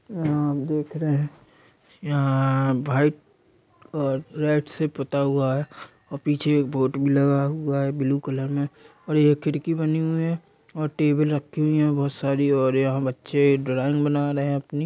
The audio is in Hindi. आप देख रहे हैं-- यहाँ वाइट और रेड से पोता हुआ है और पीछे एक बोर्ड भी लगा हुआ है ब्लू कलर में और ये खिड़की बनी हुई है और टेबल रखी हुई है बहोत सारी और यहाँ बच्चे ड्राइंग बना रहे हैं अपनी--